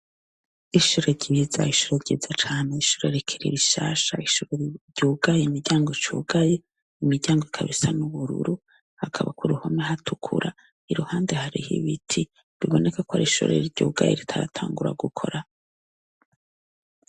Ishure ryiza, ishure ryiza cane, ishure rikiri rishasha, ishure ryugaye, imiryango icugaye, imiryango ikaba isa n’ubururu hakaba kuruhome hatukura iruhande hariho ibiti biboneka ko arishure ryugaye ritaratangura gukora.